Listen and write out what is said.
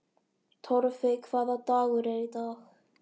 Torfey, hvaða dagur er í dag?